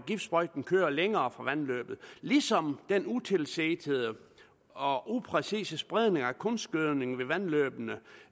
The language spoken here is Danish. giftsprøjten kører længere fra vandløbet ligesom den utilsigtede og upræcise spredning af kunstgødning ved vandløbene